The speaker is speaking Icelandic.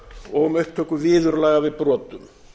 og um upptöku viðurlaga við brotum